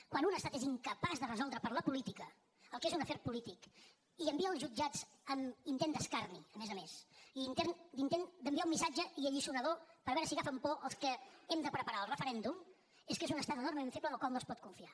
quan un estat és incapaç de resoldre per la política el que és un afer polític i envia als jutjats amb intent d’escarni a més a més i intent d’enviar un missatge i alliçonador per veure si agafen por els que hem de preparar el referèndum és que és un estat enormement feble en el qual no es pot confiar